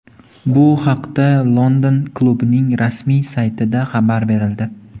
Bu haqda London klubining rasmiy saytida xabar berildi .